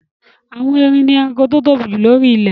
Àwọn erin ni ẹranko tó tóbi jù lóri ilẹ̀